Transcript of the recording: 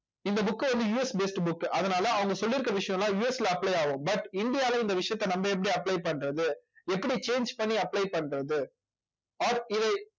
இந்த book அ வந்து USbased book அதனால அவங்க சொல்லி இருக்கிற விஷயம் எல்லாம் US ல apply ஆகும் but இந்தியாவுல இந்த விஷயத்த நம்ம எப்படி apply பண்றது எப்படி change பண்ணி apply பண்றது or இதை